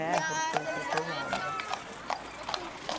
É, porque foi pesado.